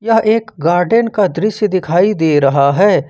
यह एक गार्डेन का दृश्य दिखाई दे रहा है।